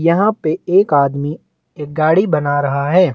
यहाँ पे एक आदमी एक गाड़ी बना रहा है।